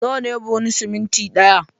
Nawa ne buhun siminti ɗaya?